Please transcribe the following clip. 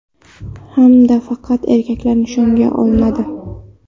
Hamda faqat erkaklar nishonga olinadi.